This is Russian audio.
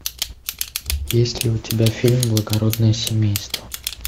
есть ли у тебя фильм благородное семейство